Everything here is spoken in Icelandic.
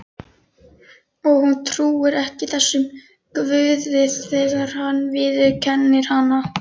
Og hún trúir ekki þessum Guði þegar hann viðurkennir hana.